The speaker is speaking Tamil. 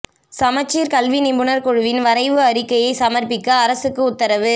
சமச்சீர் கல்வி நிபுணர் குழுவின் வரைவு அறிக்கையை சமர்ப்பிக்க அரசுக்கு உத்தரவு